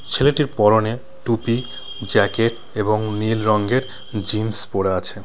ছেলেটি পরনে টুপি জ্যাকেট এবং নীল রঙের জিন্স পরা আছে।